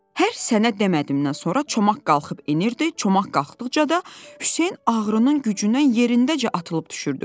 Hər sənə demədimdən sonra çomaq qalxıb enirdi, çomaq qalxdıqca da Hüseyn ağrının gücündən yerindəcə atılıb düşürdü.